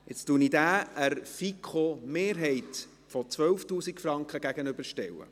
Nun stelle ich diesen dem Antrag der FiKo-Mehrheit auf 12 000 Franken gegenüber.